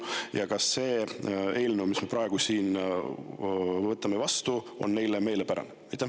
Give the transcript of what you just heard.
Ja kas see eelnõu, mis me praegu siin vastu võtame, on neile meelepärane?